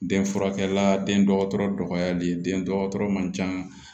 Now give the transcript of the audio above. Den furakɛla den dɔgɔtɔrɔya le den dɔgɔtɔrɔ man ca